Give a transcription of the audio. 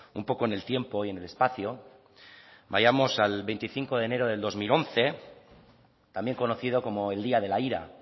un poco en el tiempo y en el espacio vayamos al veinticinco de enero del dos mil once también conocido como el día de la ira